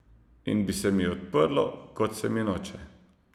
In bi se mi odprlo, kot se mi noče.